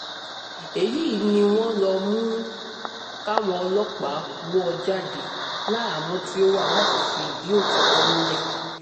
èyí ni wọ́n ló mú káwọn ọlọ́pàá wò ó jáde láhàámọ̀ tó wá láti fìdí òtítọ́ múlẹ̀